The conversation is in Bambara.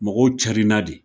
Mɔgɔw carinna de